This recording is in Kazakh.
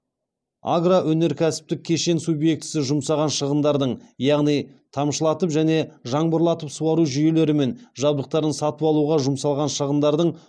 агро өнеркәсіптік кешен субъектісі жұмсаған шығындардың яғни тамшылатып және жаңбырлатып суару жүйелері мен жабдықтарын сатып алуға жұмсалған шығындардың